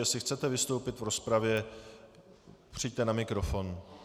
Jestli chcete vystoupit v rozpravě, přijďte na mikrofon.